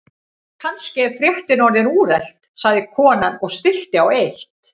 Kannski er fréttin orðin úrelt sagði konan og stillti á eitt.